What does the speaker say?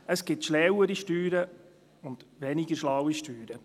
Es gibt schlauere Steuern und weniger schlaue Steuern.